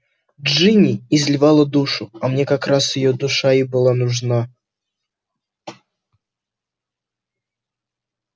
джинни изливала душу а мне как раз её душа и была нужна